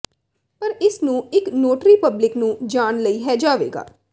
ਪਰ ਇਸ ਨੂੰ ਇੱਕ ਨੋਟਰੀ ਪਬਲਿਕ ਨੂੰ ਜਾਣ ਲਈ ਹੈ ਜਾਵੇਗਾ